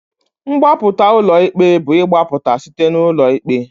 Mgbapụta ulọ ikpe bu igbapụta site n'ụlọ ikpe.